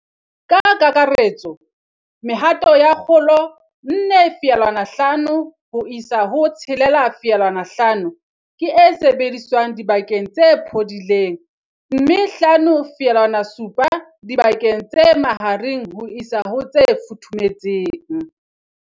Ka kakaretso, mehato ya kgolo 4, 5 ho isa ho 6, 5 ke e sebediswang dibakeng tse phodileng, mme 5 7 dibakeng tse mahareng ho isa ho tse futhumetseng.